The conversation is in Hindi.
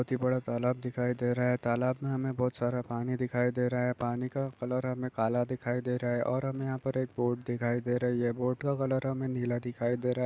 -- बोहत ही बड़ा तालाब दिखाई दे रहा है तालाब में हमें बहुत सारा पानी दिखाई दे रहा है पानी का कलर हमें काला दिखाई दे रहा है और हमें यहाँ पर एक बोट दिखाई दे रही हैये बोट का कलर हमें नीला दिखाई दे रहा--